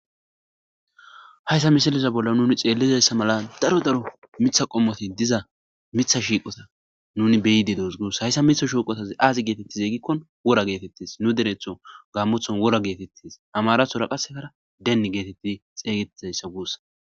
hayssa misiliza bolla nuni xeellizayssa mala daro daro mitha qommoti diza mitha shiiqota nuni beyide doos guus hayssa mitha shiuqotaz aazi geetettize gikko wora geetettis nu dereththo gaammothon wora geetettis amarathora qasekara denni geetetti xeygetizayssa guussa